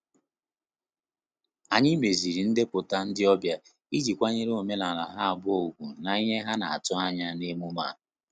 Anyị meziri ndepụta ndị ọbịa iji kwanyere omenala ha abụọ ùgwù na-ihe ha na atụ anya na emume a.